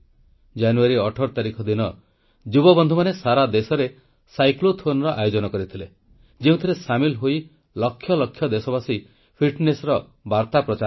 ଜାନୁଆରୀ 18 ତାରିଖ ଦିନ ଯୁବବନ୍ଧୁମାନେ ସାରା ଦେଶରେ ସାଇକ୍ଲୋଥୋନର ଆୟୋଜନ କରିଥିଲେ ଯେଉଁଥିରେ ସାମିଲ ହୋଇ ଲକ୍ଷ ଲକ୍ଷ ଦେଶବାସୀ ଫିଟ୍ନେସର ବାର୍ତ୍ତା ପ୍ରଚାର କଲେ